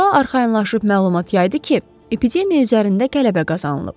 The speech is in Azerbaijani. sonra arxayınlaşıb məlumat yaydı ki, epidemiya üzərində qələbə qazanılıb.